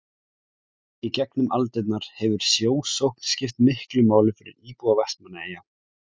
í gegnum aldirnar hefur sjósókn skipt miklu máli fyrir íbúa vestmannaeyja